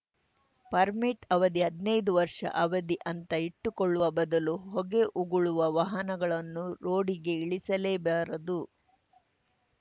permit ಅವಧಿ ಹದ್ನೈದು ವರ್ಷ ಅವಧಿ ಅಂತ ಇಟ್ಟುಕೊಳ್ಳುವ ಬದಲು ಹೊಗೆ ಉಗುಳುವ ವಾಹನಗಳನ್ನು ರೋಡಿಗೆ ಇಳಿಸಲೇಬಾರದು